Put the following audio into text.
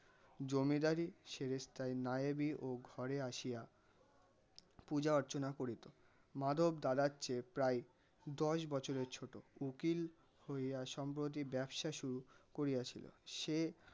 জমিদারী ছেড়ে তাই নায়েবি ও ঘরে আসিয়া পূজা অর্চনা করিত. মাধব দাদার চেয়ে প্রায় দশ বছরের ছোটো. উকিল হইয়া সম্প্রতি ব্যবসা শুরু করিয়াছিল. সে